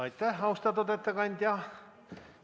Aitäh, austatud ettekandja!